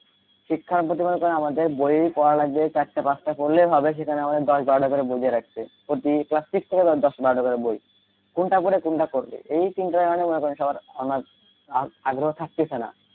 শিক্ষার প্রতি মনে করেন আমাদের বই পড়া লাগবে চার পাঁচট পড়লে হবে এখানে আমাদের দশ বারোটা করে বই দিয়ে রাখছে প্রতি class six থেকে দশ বারোটা করে বই কোনটা করে কোনটা করবে এই চিন্তার কারণে মনে করেন সবার অনেক আগ্রহ থাকিতেছে না,